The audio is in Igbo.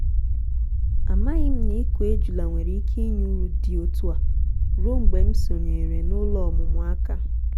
amaghị m na ịkụ ejula nwere ike inye uru dị otu a ruo mgbe m sonyeere n'ụlọ ọmụmụ aka.